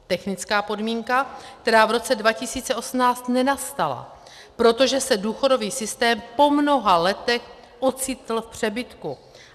Technická podmínka, která v roce 2018 nenastala, protože se důchodový systém po mnoha letech ocitl v přebytku.